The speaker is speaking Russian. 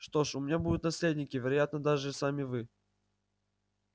что ж у меня будут наследники вероятно даже сами вы